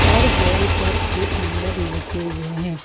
और वॉल पर ईट नंबर लिखे हुए हैं।